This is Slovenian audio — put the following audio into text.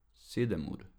Sedem ur.